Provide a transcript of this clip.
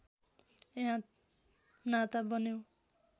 यहाँ नाता बन्यो